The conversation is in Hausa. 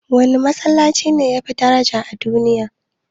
Wane Masallaci ne yafi daraja a duniya?